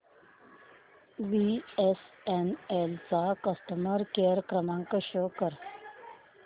BSNL चा customer care क्रमांक show कर